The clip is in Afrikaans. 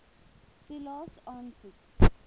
toelaes aansoek